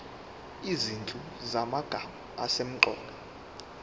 izinhlu zamagama asemqoka